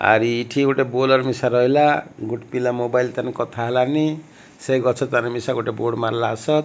ଆରି ଏଠି ଗୋଟେ ବୋଲର ମିଶା ରହିଲା ଗୋଟ ପିଲା ମୋବାଇଲ ତା ନେ କଥା ହେଲାନି ସେ ଗଛ ତଲେ ଗୋଟେ ବୋର୍ଡ ମାରଲାସତ।